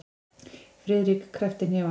Friðrik kreppti hnefana.